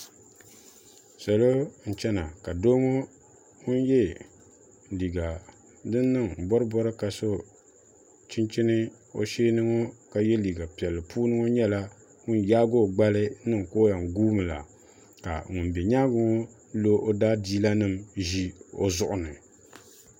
salo n chɛna ka doo ŋun yɛ liiga din niŋ bori bori ŋo ka so chinchini ka yɛ liiga piɛlli puuni ŋɔ nyɛla ŋun yaagi o gbali niŋ ka o yɛn guumi la ka ŋun bɛ nyaangi ŋɔ lo o daadiila nim ʒi o zuɣu ni